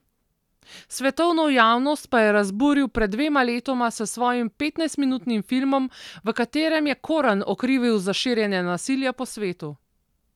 Svetovno javnost pa je razburil pred dvema letoma s svojim petnajstminutnim filmom, v katerem je Koran okrivil za širjenje nasilja po svetu.